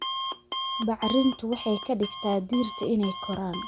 Bacrintu waxay ka dhigtaa dhirta inay koraan